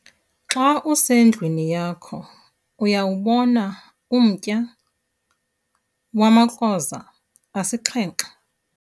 xa usendlwini yakho uyawubona umtya wamakroza asixhenxe?